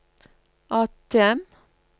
ATM